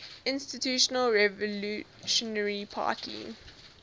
institutional revolutionary party